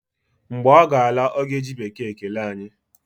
Mgbe ọ ga-ala, ọ ga-eji bekee kelee anyị